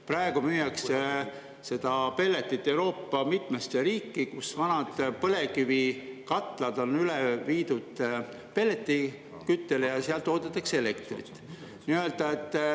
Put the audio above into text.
Praegu müüakse seda pelletit Euroopa mitmesse riiki, kus vanad põlevkivikatlad on üle viidud pelletiküttele, ja seal toodetakse elektrit.